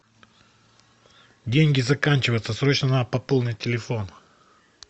деньги заканчиваются срочно надо пополнить телефон